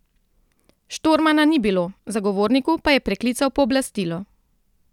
Štormana ni bilo, zagovorniku pa je preklical pooblastilo.